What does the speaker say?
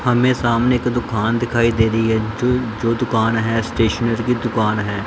हमें सामने एक दुकान दिखाई दे री है जो जो दुकान है स्टेशनरी की दुकान है।